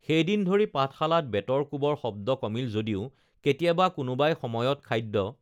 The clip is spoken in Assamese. সেইদিন ধৰি পাঠশালাত বেতৰ কোবৰ শব্দ কমিল যদিও কেতিয়াবা কোনোবাই সময়ত খাদ্য